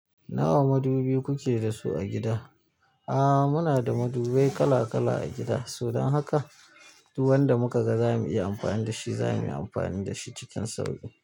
Nawa madubi kuke da su a gida? Aaa muna da madubai kala kala a gida, saboda haka duk wanda muka ga za mu iya amfani da shi, za muyi amfani da shi cikin sauƙi.